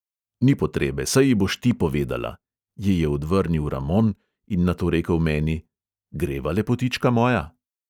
"Ni potrebe, saj ji boš ti povedala," ji je odvrnil ramon in nato rekel meni: "greva, lepotička moja?"